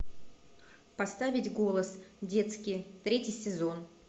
поставить голос детский третий сезон